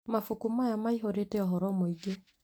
Mabuku maya maihũrĩte ũhoro mũingĩ